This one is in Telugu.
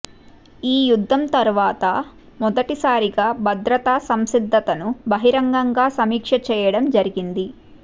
ఈ యుద్ధం తర్వాత మొదటిసారిగా భద్రతా సంసిద్ధతను బహిరంగంగా సమీక్ష చేయడం జరిగింది